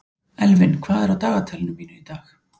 Elvin, hvað er á dagatalinu mínu í dag?